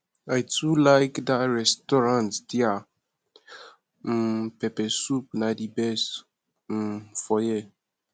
i too like dat restaurant their um pepper soup na di best um for here